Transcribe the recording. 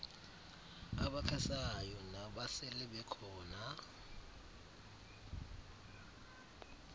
abakhasayo nabasele bekhona